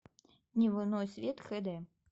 дневной свет хэ дэ